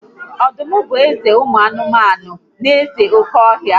Ọdụm bụ eze ụmụ anụmanụ na eze oke ọhịa